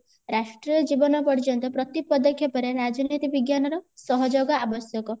ରାଷ୍ଟ୍ରୀୟ ଜୀବନ ପର୍ଯ୍ଯନ୍ତ ପ୍ରତି ପଦକ୍ଷେପ ରେ ରାଜନୀତି ବିଜ୍ଞାନର ସହଯୋଗ ଆବଶ୍ୟକ